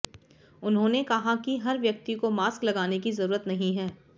उन्होंने कहा कि हर व्यक्ति को मास्क लगाने की जरूरत नहीं है